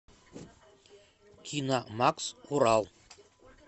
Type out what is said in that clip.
киномакс урал